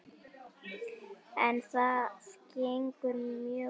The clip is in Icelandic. En það gengur mjög vel.